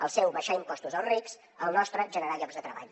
el seu abaixar impostos als rics el nostre generar llocs de treball